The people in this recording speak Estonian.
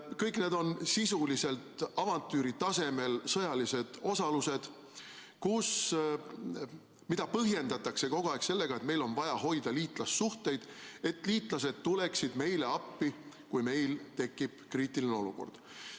Kõik need on sisuliselt avantüüri tasemel sõjalised osalused, mida põhjendatakse kogu aeg sellega, et meil on vaja hoida liitlassuhteid, et liitlased tuleksid meile appi, kui meil tekib kriitiline olukord.